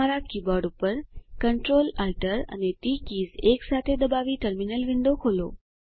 તમારા કીબોર્ડ ઉપર Ctrl Alt અને ટી કીઝ એકસાથે દબાવી ટર્મિનલ વિન્ડો ખોલો